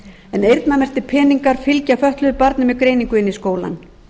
en eyrnamerktir peningar fylgja fötluðu barni með greiningu inn í skólann